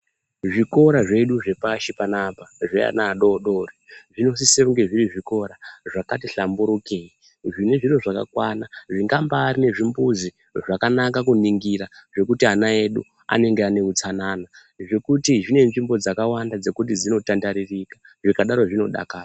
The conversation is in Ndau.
Zvikora zvedu zvepashi panapa zveana adodori zvinosise kunge zviri zvikora zvakati hlamburukei. Zvine zviro zvakakwana zvingambarine zvimbuzi zvakanaka kuningira zvekuti ana edu anenge ane utsanana. Zvekuti zvine nzvimbo dzakawanda dzekuti dzinotandarikika zvikadaro zvinodakara.